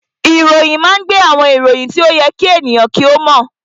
Ìròyìn máa ń gbé àwọn ìròyìn tí ó yẹ kí àwọn ènìyàn kí ó mọ̀